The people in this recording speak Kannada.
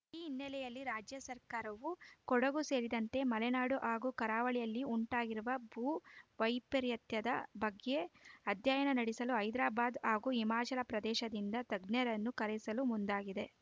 ಈ ಹಿನ್ನೆಲೆಯಲ್ಲಿ ರಾಜ್ಯ ಸರ್ಕಾರವು ಕೊಡಗು ಸೇರಿದಂತೆ ಮಲೆನಾಡು ಹಾಗೂ ಕರಾವಳಿಯಲ್ಲಿ ಉಂಟಾಗಿರುವ ಭೂ ವೈಪರೀತ್ಯದ ಬಗ್ಗೆ ಅಧ್ಯಯನ ನಡೆಸಲು ಹೈದರಾಬಾದ್‌ ಹಾಗೂ ಹಿಮಾಚಲ ಪ್ರದೇಶದಿಂದ ತಜ್ಞರನ್ನು ಕರೆಸಲು ಮುಂದಾಗಿದೆ